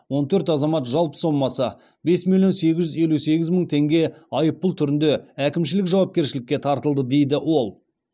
он төрт азамат жалпы сомасы бес миллион сегіз жүз елу сегіз мың теңге айыппұл түрінде әкімшілік жауапкершілікке тартылды дейді ол